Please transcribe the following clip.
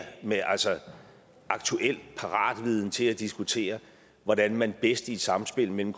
med aktuel paratviden til at diskutere hvordan man bedst i et samspil mellem